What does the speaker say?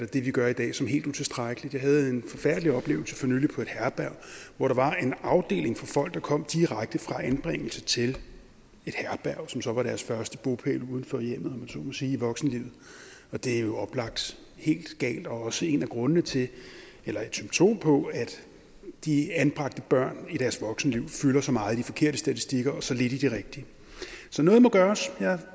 det vi gør i dag som helt utilstrækkeligt jeg havde en forfærdelig oplevelse for nylig på et herberg hvor der var en afdeling for folk der kom direkte fra anbringelse til et herberg som så var deres første bopæl uden for hjemmet om så må sige i voksenlivet det er jo oplagt helt galt og også en af grundene til eller et symptom på at de anbragte børn i deres voksenliv fylder så meget i de forkerte statistikker og så lidt i de rigtige så noget må gøres